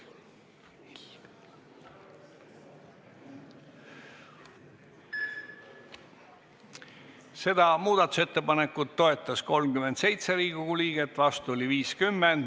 Hääletustulemused Seda muudatusettepanekut toetas 37 Riigikogu liiget, vastu oli 50.